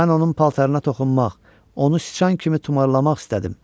Mən onun paltarına toxunmaq, onu sıçan kimi tumarlamaq istədim.